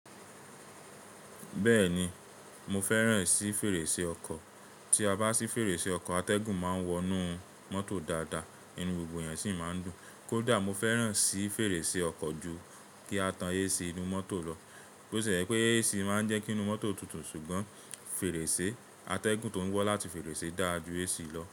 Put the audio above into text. Bẹ́ẹ̀ni mo fẹ́ràn sí fèrèsé ọkọ̀. Tí a bá sí fèrèsé ọkọ̀ atẹ́gùn máa ń wọnú mọ́tò dáadáa, inú gbogbo èèyàn sì máa ń dùn. Kódà mo fẹ́ràn sì fèrèsé ọkọ̀ ju kí a tan AC inú mọ́tò lọ. Ó ṣe pé AC máa ń jẹ́ kí inú mọ́tò tutù ṣùgbọ́n fèrèsé atẹ́gùn tó ń wá láti fèrèsé dà á ju AC lọ.